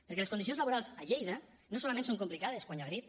perquè les condicions laborals a lleida no solament són complicades quan hi ha grip